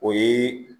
O ye